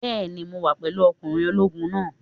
Bẹ́ẹ̀ni, mo wà pẹ̀lú ọkùnrin ológun náà.